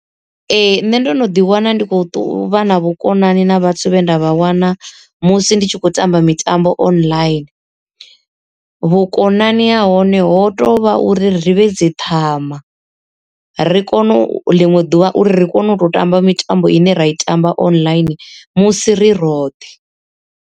Ee nṋe ndo no ḓi wana ndi khou vha na vhukonani na vhathu vhe nda vha wana musi ndi tshi khou tamba mitambo online. Vhukonani ha hone ho tovha uri ri vhe dzi ṱhama, ri kone ḽiṅwe ḓuvha uri ri kone u tou tamba mitambo ine ra i tamba online musi ri roṱhe.